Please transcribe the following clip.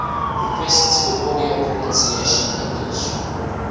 requests for audio pronunciation english